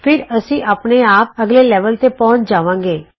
ਫਿਰ ਅਸੀਂ ਆਪਣੇ ਆਪ ਅਗਲੇ ਲੈਵਲ ਤੇ ਪਹੁੰਚ ਜਾਵਾਂਗੇ